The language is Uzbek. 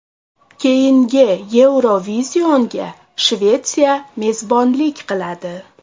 Keyingi Eurovision’ga Shvetsiya mezbonlik qiladi.